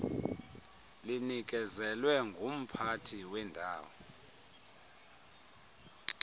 linikezelwe ngumphathi wendawo